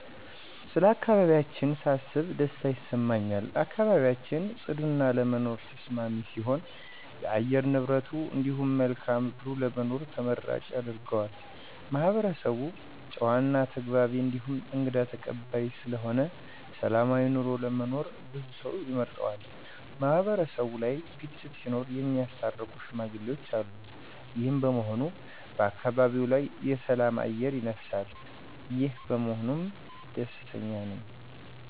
ስለ አካባቢያችን ሳስብ ደስታ ይሰማኛል። አካባቢያችን ፅዱ እና ለመኖር ተስማሚ ሲሆን የአየር ንብረቱ እንዲሁም መልክአ ምድሩ ለመኖር ተመራጭ ያደርገዋል። ማህበረሰቡ ጨዋ እና ተግባቢ እንዲሁም እንግዳ ተቀባይ ስለሆነ ሰላማዊ ኑሮ ለመኖር ብዙ ሰው ይመርጠዋል። ማህበረሰቡ ላይ ግጭት ሲኖር እሚያስታርቁ ሽማግሌዎች አሉ። ይሄም በመሆኑ በአካባቢው ላይ የሰላም አየር ይነፍሳል። ይሄ በመሆኑም ደስተኛ ነኝ።